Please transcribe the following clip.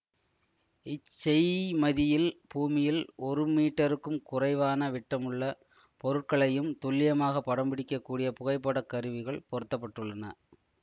இச்செய்மதியில் பூமியில் ஒரு மீட்டருக்கும் குறைவான விட்டமுள்ள பொருட்களையும் துல்லியமாகப் படம் பிடிக்க கூடிய புகைப்படக் கருவிகள் பொருத்த பட்டுள்ளன